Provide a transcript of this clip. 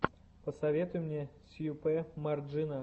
посоветуй мне сьюпе марджина